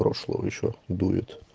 прошло ещё дует